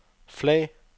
flag